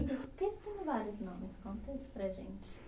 Porque você tem vários nomes? Conta isso para a gente.